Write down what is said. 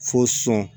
Fo sɔn